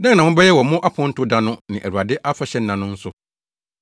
Dɛn na mobɛyɛ wɔ mo aponto da no ne Awurade afahyɛnna no nso?